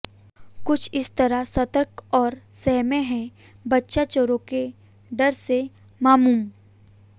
कुछ इस तरह सतर्क और सहमे हैं बच्चा चोरों के डर से मामूम